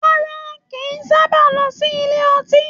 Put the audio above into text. Rárá, kìí sábà lọ sílé ọtí